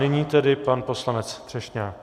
Nyní tedy pan poslanec Třešňák.